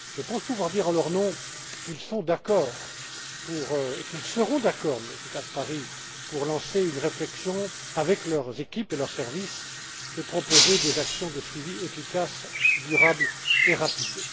Je pense pouvoir dire en leur nom qu'ils sont d'accord et qu'ils seront d'accord, Monsieur Caspary, pour engager une réflexion, avec leurs équipes et leurs services, et proposer des actions de suivi efficaces, durables et rapides.